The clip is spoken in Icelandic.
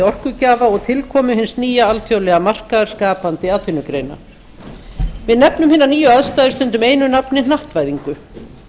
orkugjafa og tilkoma hins nýja alþjóðlega markaðar skapandi atvinnugreina við nefnum hinar nýju aðstæður stundum einu nafni hnattvæðingu